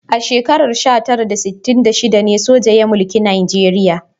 A shekarar sha tara da sittin da shida ne soja ya mulki Najeriya.